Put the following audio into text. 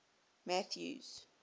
mathews